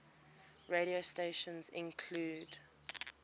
radio stations include